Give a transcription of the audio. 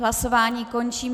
Hlasování končím.